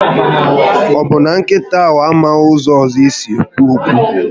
Ọbụ na nkịta amaghị ụzọ ọzọ esi ekwu okwu?